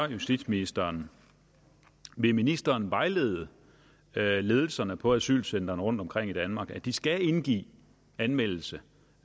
justitsministeren vil ministeren vejlede ledelserne på asylcentrene rundtomkring i danmark om at de skal indgive anmeldelse